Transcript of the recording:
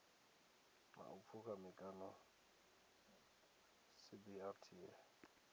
ḽa u pfukha mikano cbrta